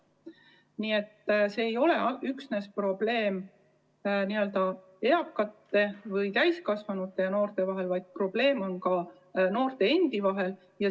Nii et see ei ole üksnes täiskasvanute ja noorte vaheline probleem, vaid probleem on ka noorte endi vahel.